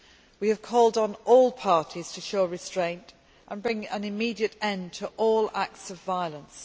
We have called on all parties to show restraint and bring an immediate end to all acts of violence.